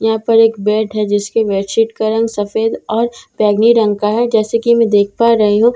यहां पर एक बैड है जिसके बैड सीट का रंग सफेद और बैंगनी रंग का है जैसे कि मैं देख पा रही हूं ।